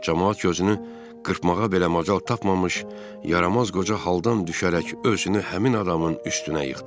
Camaat gözünü qırpmağa belə macal tapmamış, yaramaz qoca haldan düşərək özünü həmin adamın üstünə yıxdı.